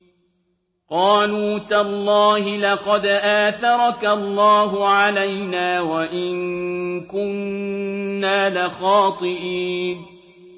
قَالُوا تَاللَّهِ لَقَدْ آثَرَكَ اللَّهُ عَلَيْنَا وَإِن كُنَّا لَخَاطِئِينَ